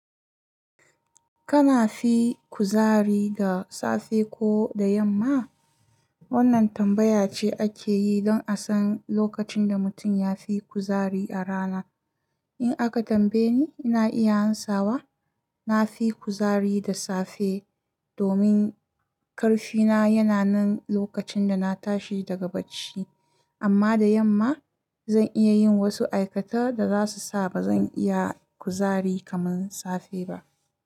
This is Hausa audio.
Kana fi kuzari da safe ko da yamma? Wannan tambaya ce ake yi don a san lokacin da mutum ya fi kuzari a rana. In aka tambaye ni, ina iya ansawa. Na fi kuzari da safe domin ƙarfina yana nan lokacin da na tashi daga bacci. Amma da yamma, zan iya yin wasu aikata da zasu sa ba zan iya kuzari kaman safe ba.